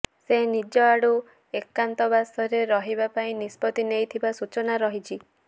ସେ ନିଜ ଆଡୁ ଏକାନ୍ତବାସରେ ରହିବା ପାଇଁ ନିଷ୍ପତ୍ତି ନେଇଥିବା ସୂଚନା ରହିଛି